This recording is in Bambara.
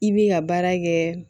I bi ka baara kɛ